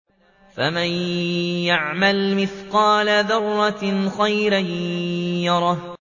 فَمَن يَعْمَلْ مِثْقَالَ ذَرَّةٍ خَيْرًا يَرَهُ